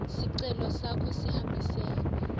sicelo sakho sihambisene